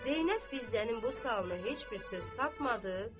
Zeynəb Fizənin bu sualına heç bir söz tapmadı.